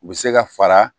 U bɛ se ka fara